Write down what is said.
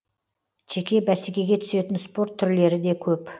жеке бәсекеге түсетін спорт түрлері де көп